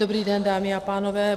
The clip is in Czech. Dobrý den, dámy a pánové.